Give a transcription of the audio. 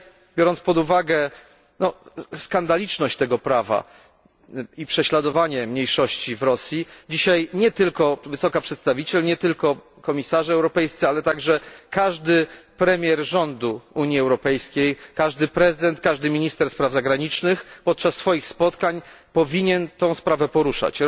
Biorąc pod uwagę skandaliczny charakter tego prawa i prześladowanie mniejszości w Rosji, dzisiaj nie tylko wysoka przedstawiciel, nie tylko komisarze europejscy, ale także każdy premier rządu Unii Europejskiej, każdy prezydent, każdy minister spraw zagranicznych powinni podczas spotkań tę sprawę poruszać.